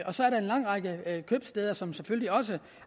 og så er der en lang række købstæder som selvfølgelig også